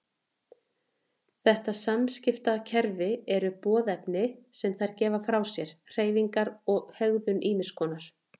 Þetta samskiptakerfi eru boðefni sem þær gefa frá sér, hreyfingar og hegðun ýmiss konar.